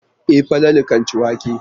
E, Falatu kan ci wake?